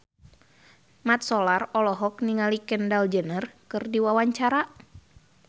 Mat Solar olohok ningali Kendall Jenner keur diwawancara